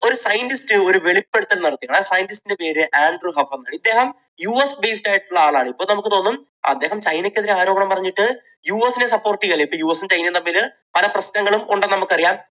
ഒരു scientist ഒരു വെളിപ്പെടുത്തൽ നടത്തി. ആ scientist ന്റെ പേര് ആൻഡ്രൂ ഹഫ്. ഇദ്ദേഹം യു എസ് based ആയിട്ടുള്ള ആളായിരുന്നു. ഇപ്പോൾ നമുക്ക് തോന്നും അദ്ദേഹം ചൈനക്കെതിരെ ആരോപണം പറഞ്ഞിട്ട് യു എസിനെ support ചെയ്യുകയാണെന്ന്. ഇപ്പോൾ യു എസും ചൈനയും തമ്മിൽ പല പ്രശ്നങ്ങളും ഉണ്ടെന്ന് നമുക്കറിയാം.